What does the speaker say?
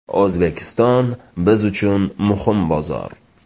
O‘zbekiston – biz uchun muhim bozor.